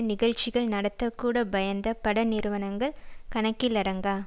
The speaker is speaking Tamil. நிகழ்ச்சிகள் நடத்த கூட பயந்த பட நிறுவனங்கள் கணக்கிலடங்கா